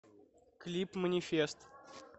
клип манифест